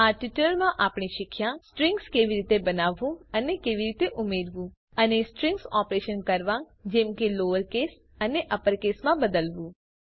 આ ટ્યુટોરીયલમાં આપણે શીખ્યા સ્ટ્રિંગ્સ કેવી રીતે બનાવવું અને ઉમેરવું અને સ્ટ્રીંગ ઓપરેશન્સ કરવા જેમ કે લોઅર કેસ અને અપર કેસમાં બદલવું